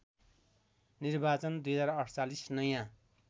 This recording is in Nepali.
निर्वाचन २०४८ नयाँ